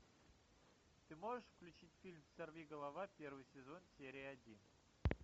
ты можешь включить фильм сорви голова первый сезон серия один